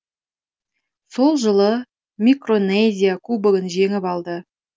сол жылы микронезия кубогын жеңіп алды